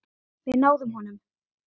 Við náðum honum.